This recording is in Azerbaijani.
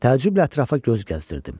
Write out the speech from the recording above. Təəccüblə ətrafa göz gəzdirirdim.